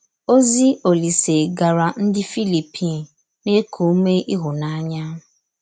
Ózì Olísè gàrà ndí Fílíppì na-èkù ùmè íhụ́nànyà.